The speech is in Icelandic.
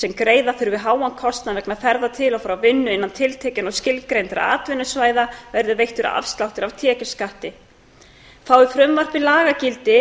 sem greiða þurfa háan kostnað vegna ferða til og frá vinnu innan tiltekinna og skilgreindra atvinnusvæða verði veittur afsláttur af tekjuskatti fái frumvarpið lagagildi